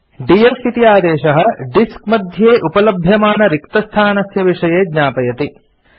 DF इति आदेशः disk मध्ये उपलभ्यमानरिक्तस्थानस्य विषये ज्ञापयति